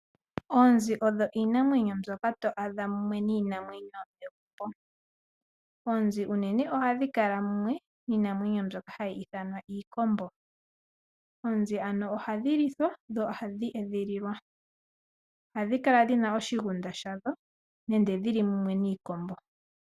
Oonzi odho iinamwenyo mbyoka to adha mumwe niinamwenyo iikwawo. Oonzi unene ohadhi kala mumwe niinamwenyo mbyoka hayi ithanwa iikombo. Oonzi ano ohadhi lithwa dho ohadhi edhililwa. Ohadhi kala dhina oshigunda shadho nenge dhili mumwe niikombo.